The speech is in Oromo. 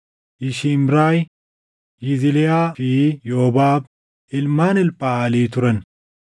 Yishimraay, Yizliyaa fi Yoobaab ilmaan Elphaʼalii turan.